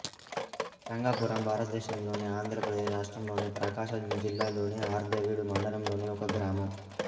రంగాపురం భారతదేశంలోని ఆంధ్రప్రదేశ్ రాష్ట్రంలోని ప్రకాశం జిల్లాలోని అర్ధవీడు మండలంలోని ఒక గ్రామం